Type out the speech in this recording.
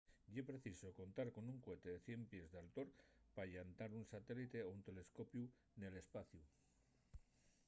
ye preciso contar con un cohete de 100 pies d’altor pa llantar un satélite o un telescopiu nel espaciu